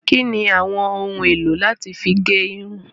Kíni àwọn ohun èlò láti fí gẹ irun?